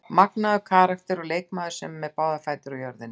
Magnaður karakter og leikmaður sem er með báðar fætur á jörðinni.